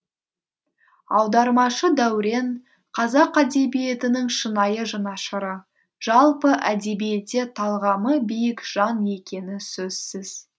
аудармашы дәурен қазақ әдебиетінің шынайы жанашыры жалпы әдебиетте талғамы биік жан екені сөзсіз